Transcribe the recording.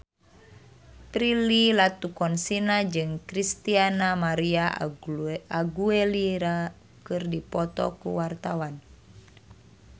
Prilly Latuconsina jeung Christina María Aguilera keur dipoto ku wartawan